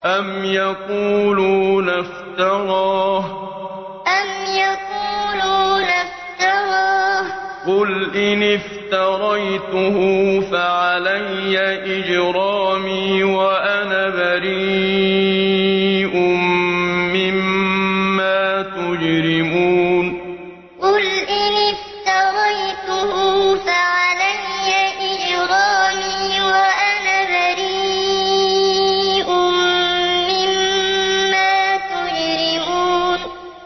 أَمْ يَقُولُونَ افْتَرَاهُ ۖ قُلْ إِنِ افْتَرَيْتُهُ فَعَلَيَّ إِجْرَامِي وَأَنَا بَرِيءٌ مِّمَّا تُجْرِمُونَ أَمْ يَقُولُونَ افْتَرَاهُ ۖ قُلْ إِنِ افْتَرَيْتُهُ فَعَلَيَّ إِجْرَامِي وَأَنَا بَرِيءٌ مِّمَّا تُجْرِمُونَ